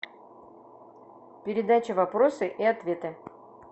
передача вопросы и ответы